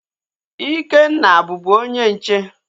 Ikenna bubu onye nche